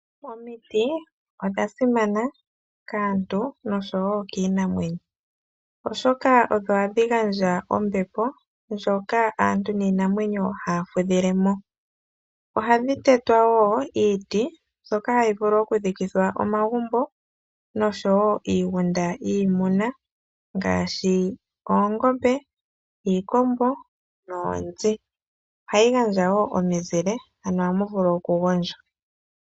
Omiti odha simana kaantu noshowo kiinamwenyo, oshoka odho hadhi gandja ombepo ndjoka aantu niinamwenyo haa fudhilemo. Ohadhi tetwa woo iiti mbyoka hayi longithwa okuthikithwa omagumbo noshowo iigunda yiimuna ngaashi oongombe, iikombo noonzi. Ohadhi gandja woo omizile.